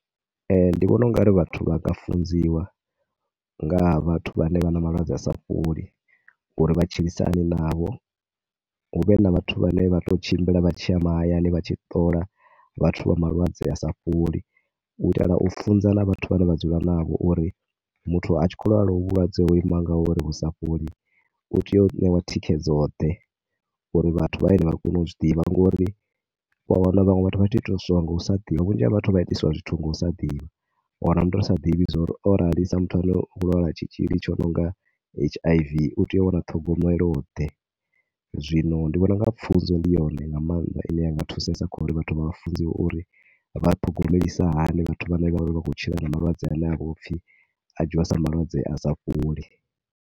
Ndi vhona u nga ri vhathu vha nga funziwa nga ha vhathu vhane vha na malwadze a sa fholi uri vha tshilisa hani navho. Hu vhe na vhathu vhane vha tou tshimbila vha tshi ya mahayani vha tshi ṱola vhathu vha malwadze a sa fholi. U itela u funza na vhathu vhane vha dzula navho uri muthu a tshi khou lwala hovhu vhulwadze ho ima ngauri vhu sa fholi u tea u ṋewa thikhedzoḓe. U ri vhathu vha hayani vha kone u zwi ḓivha ngori u a wana vhaṅwe vhathu vha tshi itiswa nga u sa ḓivha, vhunzhi ha vhathu vha itiswa zwithu nga u sa ḓivha. U wana muthu a sa ḓivha uri o rali sa muthu a no khou lwala tshitzhili tshi no nga H_I_V, u tea u wana ṱhogomeloḓe. Zwino ndi vhona u nga funzo ndi yone nga maanḓa ine ya nga thusesa kha uri vhathu vha funziwe uri vha ṱhogomelisa hani vhathu vhane vha khou tshila na malwadze ane a vha u pfhi a dzhiiwa sa malwadze a sa fholi.